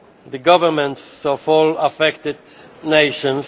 the governments of all affected nations.